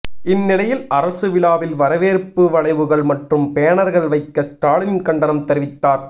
இந்நிலையில் அரசு விழாவில் வரவேற்பு வளைவுகள் மற்றும் பேனர்கள் வைக்க ஸ்டாலின் கண்டனம் தெரிவித்தார்